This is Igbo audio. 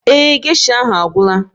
Ee e, geisha ahụ agwụla